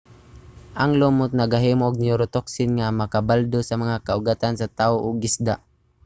ang lumot nagahimo og neurotoxin nga makabaldado sa mga kaugatan sa tao ug isda